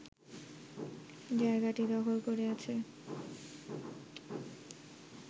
জায়গাটি দখল করে আছে